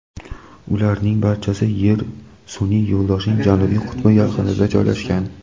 ularning barchasi Yer sun’iy yo‘ldoshining janubiy qutbi yaqinida joylashgan.